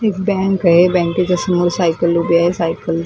एक बँक आहे बँकेच्या समोर सायकल उभी आहे सायकल --